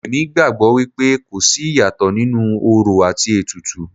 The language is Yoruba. Èmi gbàgbọ́ wípé kò sí ìyàtọ̀ nínú orò àti ètùtù.